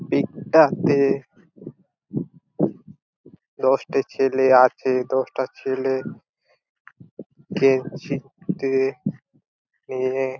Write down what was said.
pick -টাতে দশটা ছেলে আছে দশটা ছেলে কে ছিড়তে নিয়ে--